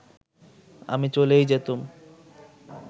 আমি চলেই যেতুম